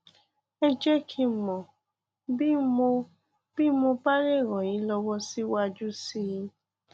ẹ jẹ kí n mọ bí n mọ bí mo bá lè ràn yín lọwọ síwájú sí i